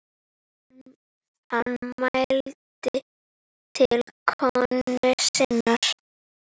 Hann mælti til konu sinnar